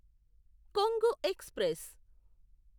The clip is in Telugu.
కొంగు ఎక్స్ప్రెస్